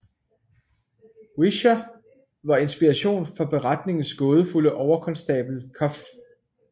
Whicher var inspiration for beretningens gådefulde overkonstabel Cuff